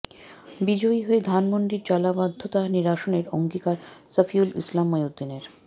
বিজয়ী হয়ে ধানমন্ডির জলাবদ্ধতা নিরসনের অঙ্গীকার শফিউল ইসলাম মহিউদ্দিনের